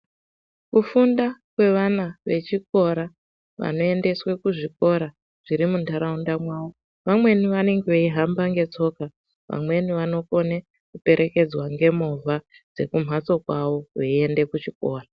Kufunda kwevana vechikora vanoendeswe kuzvikora zvirimundarawunda mawo vamweni vanange veyihamba ngetsoka ,vamweni vanokone kuperekedzwa ngemuva dzekumhatso kwawo voyende kuchikora.